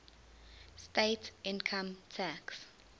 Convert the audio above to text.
state income tax